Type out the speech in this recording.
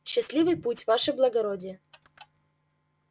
счастливый путь ваше благородие